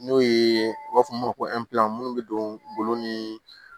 N'o ye u b'a fɔ min ma ko minnu bɛ don golo ni